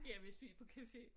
Ja hvis vi på café